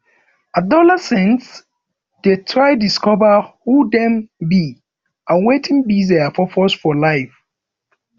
adolescents de try discover who dem be and wetin be their purpose for life